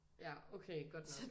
Ja okay godt nok